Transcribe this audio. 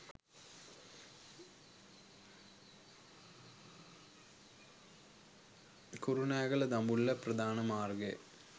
කුරුණෑගල දඹුල්ල ප්‍රධාන මාර්ගයේ